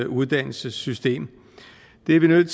uddannelsessystem det er vi nødt